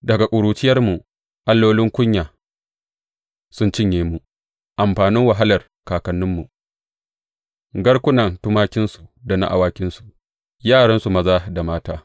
Daga ƙuruciyarmu allolin kunya sun cinye mu amfanin wahalar kakanninmu garkunan tumakinsu da na awakinsu, yaransu maza da mata.